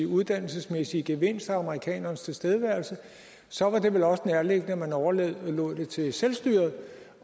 uddannelsesmæssige gevinst af amerikanernes tilstedeværelse og så var det vel også nærliggende at man overlod det til selvstyret